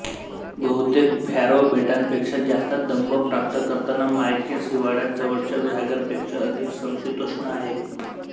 बहुतेक फॅरो बेटांपेक्षा जास्त दंव प्राप्त करताना मायकिन्स हिवाळ्यात जवळच्या व्हॉगरपेक्षा अधिक समशीतोष्ण आहे